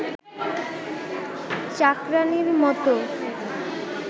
চাকরানীর মতো